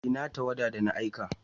Ina tawada da na aika?